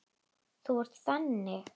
Þú ert þannig.